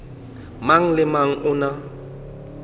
mang le mang o na